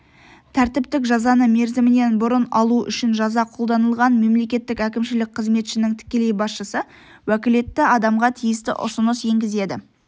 тәртіптік жазаны мерзімінен бұрын алу үшін жаза қолданылған мемлекеттік әкімшілік қызметшінің тікелей басшысы уәкілетті адамға тиісті ұсыныс енгізеді